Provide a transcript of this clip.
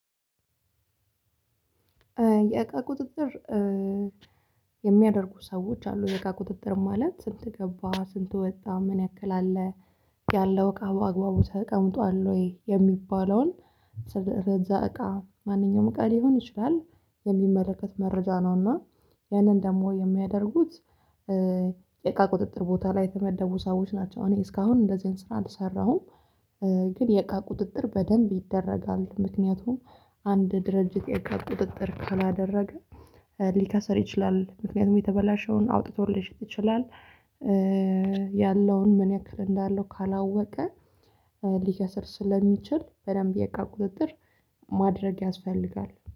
የእቃ ቁጥጥር የሚያደርጉ ሰዎች አሉ። የእቃ ቁጥጥር ማለት? ስንት ገባ፣ ስንቱ ወጣ፣ ምን ያክል አለ? ያለው እቃ በአግባቡ ተቀምጧል ወይ? የሚባለውን ለዛ እቃ ማንኛውም እቃ ሊሆን ይችላል። የሚመለከት መረጃ ነውና ያንን ደግሞ የሚያደርጉት የቃ ቁጥጥር ቦታ ላይ የሚያደርጉ ሰዎች ናቸው። እኔ እስካሁን እንደዚህን ስራ አልሰራሁም። ግን የቃ ቁጥጥር በደንብ ይደረጋል። ምክንያቱም አንድ ድርጅት የጋር ቁጥጥር ካላደረገ ሊከሰር ይችላል። ምክንያቱም የተበላሸውን አውጥቶልሽ ትችላለሽ ይችላል ያለውን ምን ያክል እንዳለው ካላወቀ ሊከስር ስለሚችል በደንብ የቃ ቁጥጥር ማድረግ ያስፈልጋል።